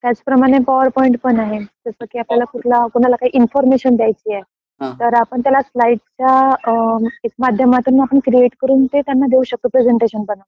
त्याचप्रमाणे पॉवरपॉईंट पण आहे. जसं की आपल्याला कुणाला काही इन्फॉर्मेशन द्यायचं आहे, तर आपण त्याला स्लाईड च्या माध्यमातून आपण क्रिएट करून ते त्यांना देऊ शकतो प्रेसझेन्टेशन बनवून